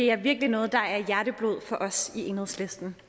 er det virkelig noget der er hjerteblod for os i enhedslisten